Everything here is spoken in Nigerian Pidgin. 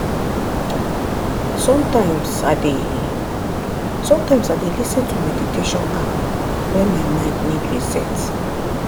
sometimes i dey sometimes i dey lis ten to meditation app when my mind need reset.